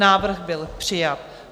Návrh byl přijat.